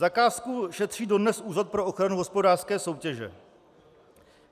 Zakázku šetří dodnes Úřad pro ochranu hospodářské soutěže.